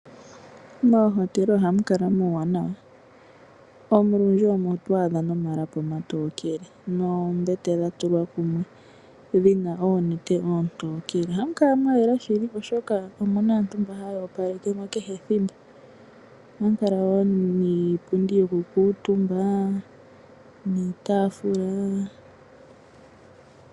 Moohotela ohamukala muuwanawa olundji omo twaadha nomalapi omatookele noombete dhatulwa kumwe dhina oonete oontokele. Ohamu kala mwayela shili oshoka omuna aantu mboka haya opalekemo kehe ethimbo. Ohamukala wo niipundi yokukuutumba niitaafula.